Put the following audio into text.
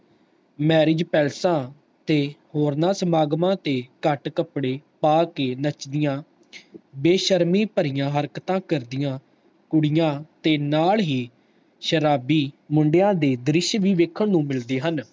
marriag palace ਤੇ ਹੋਰਨਾਂ ਸਮਾਗਮ ਤੇ ਘਟ ਕੱਪੜੇ ਪਾ ਕੇ ਨੱਚਦੀਆਂ ਬੇਸ਼ਰਮੀ ਭਰਿਆ ਹਰਕਤਾਂ ਕਰਦਿਆਂ ਕੁੜੀਆਂ ਤੇ ਨਾਲ ਹੀ ਸ਼ਰਾਬੀ ਮੁੰਡਿਆਂ ਦੇ ਦ੍ਰਿਸ਼ ਵੀ ਵੇਖਣ ਨੂੰ ਮਿਲਦੇ ਹਨ